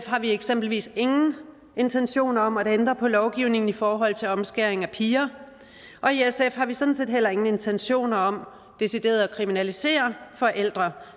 har vi eksempelvis ingen intentioner om at ændre på lovgivningen i forhold til omskæring af piger og i sf har vi sådan set heller ingen intentioner om decideret at kriminalisere forældre